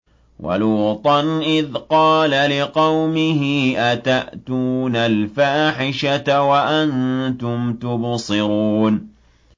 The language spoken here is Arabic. وَلُوطًا إِذْ قَالَ لِقَوْمِهِ أَتَأْتُونَ الْفَاحِشَةَ وَأَنتُمْ تُبْصِرُونَ